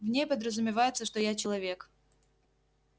в ней подразумевается что я человек